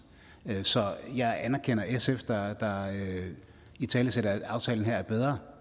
så jeg anerkender sf der italesætter at aftalen er bedre